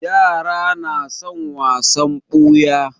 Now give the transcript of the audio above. Yara na son wasan ɓuya